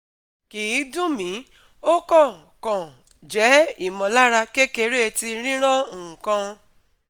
kì í dun mi, o kan kan je imọlara kekere ti riran nkaǹ